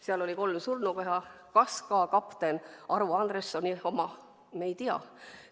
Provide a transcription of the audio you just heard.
Seal oli kolm surnukeha – kas ka kapten Arvo Andressoni oma, me ei tea.